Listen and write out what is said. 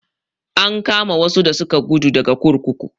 An kama wasu da suka guda daga kurkuku.